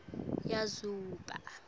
yazuba